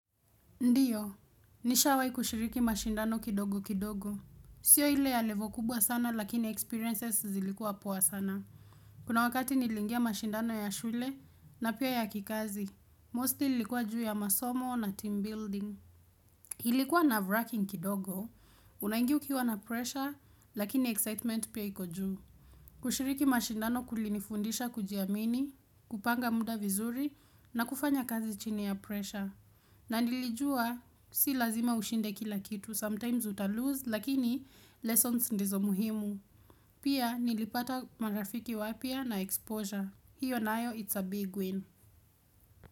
Ndiyo, nishawai kushiriki mashindano kidogo kidogo. Sio ile ya level kubwa sana lakini experiences zilikuwa poa sana. Kuna wakati nilingia mashindano ya shule na pia ya kikazi. Mosti likuwa juu ya masomo na team building. Hilikuwa nerve-wracking kidogo, unangia ukiwa na pressure lakini excitement pia iku juu. Kushiriki mashindano kulinifundisha kujiamini, kupanga muda vizuri na kufanya kazi chini ya pressure. Na nilijua si lazima ushinde kila kitu sometimes utalose lakini lessons ndizo muhimu pia nilipata marafiki waapia na exposure hiyo na ayo it's a big win.